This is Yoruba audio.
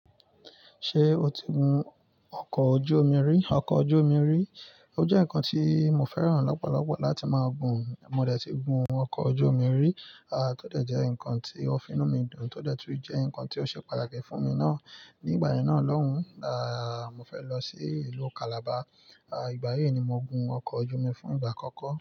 Ṣé o ti gun ọkọ̀ ojú omi rí? Ọkọ̀ ojú omi rí, ó jẹ́ nǹkan tí mo fẹ́ràn lọ́pọ̀lọpọ̀ láti máa gun. Mo dẹ̀ ti gun ọkọ̀ ojú omi rí, aà tódẹ̀ jẹ́ ǹkan tí òfin mú mi dùn tódẹ̀ tún jẹ́ ǹkan tí ó ṣe pàtàkì fún mi ná. Ní ìgbà yẹn ná lọ́hùn, aà mo fẹ́ lọ sí ìlú Calabar, aà ìgbà yẹn ni mo gun ọkọ̀ ojú omi fún ìgbà àkọ́kọ́